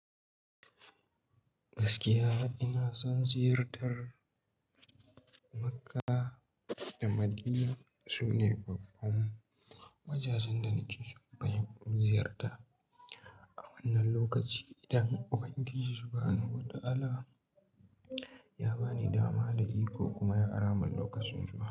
Gaskiya ina son ziyartar Makka da Madina. Su ne babban wajajen da nake so bayan ziyarta a wannan lokaci. Idan Ubangiji subhanahu wa ta'ala ya ba ni dama da iko kuma ya ara min lokacin zuwa.